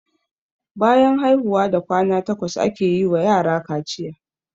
Bayan haihuwa da kwana takwas ake wa yara kaciya.